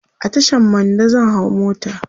a Tashan Mando zan hau mota